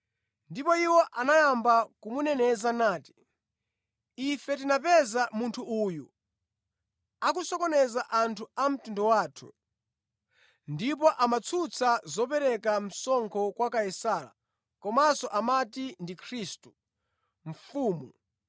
Ndipo iwo anayamba kumuneneza nati, “Ife tinapeza munthu uyu akusokoneza anthu a mtundu wathu ndipo amatsutsa zopereka msonkho kwa Kaisara komanso amati ndi Khristu, Mfumu.”